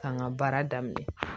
K'an ka baara daminɛ